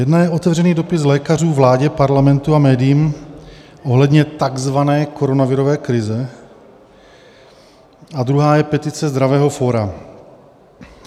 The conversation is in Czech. Jedna je otevřený dopis lékařů vládě, parlamentu a médiím ohledně takzvané koronavirové krize a druhá je petice Zdravého fóra.